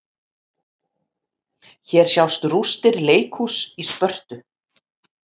Hér sjást rústir leikhúss í Spörtu.